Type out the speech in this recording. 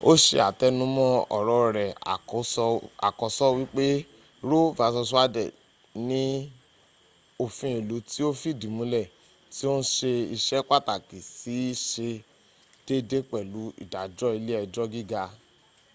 o se atenumo oro re akoso wipe roe v wade ni ofin ilu ti o fidi mule ti o n se ise pataki si se deede pelu idajo ile ejo giga